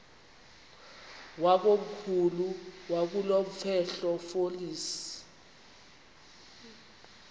wakomkhulu wakulomfetlho fonis